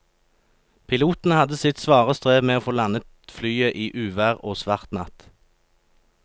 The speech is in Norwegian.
Piloten hadde sitt svare strev med å få landet flyet i uvær og svart natt.